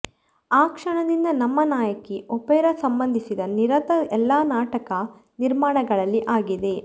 ಆ ಕ್ಷಣದಿಂದ ನಮ್ಮ ನಾಯಕಿ ಒಪೆರಾ ಸಂಬಂಧಿಸಿದ ನಿರತ ಎಲ್ಲಾ ನಾಟಕ ನಿರ್ಮಾಣಗಳಲ್ಲಿ ಆಗಿದೆ